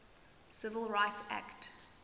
civil rights act